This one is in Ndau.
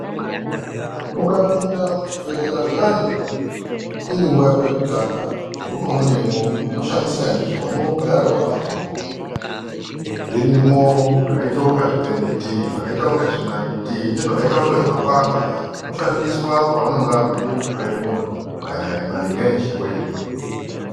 Ukapinda muchibhedhlera zviyana iri nguwa yako yekutanga zveunoona mwo unoshamisika ndizvo unogara wakabata muromo. Zvirimwo zvakaita kunga zvipeneti. Zvakaita kunga zvinaiti. Nezvakaita kunga zvimapanga. Zvinoshandiswa pavanenge veida kuhloya muntu eeh maringe nechirwere.